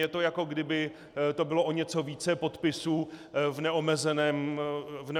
Je to, jako kdyby to bylo o něco více podpisů v neomezeném čase.